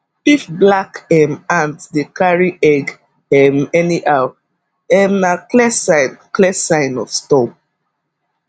if black um ant dey carry egg um anyhow um na clear sign clear sign of storm